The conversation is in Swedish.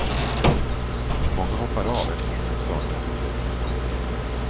Många hoppar av eftersom de saknar utvecklingsmöjligheter.